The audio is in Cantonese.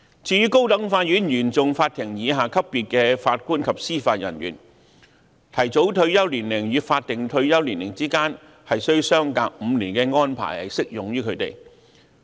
至於高等法院原訟法庭以下級別的法官及司法人員，提早退休年齡與法定退休年齡之間須相隔5年的安排亦適用於他們。